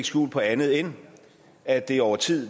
skjul på andet end at det over tid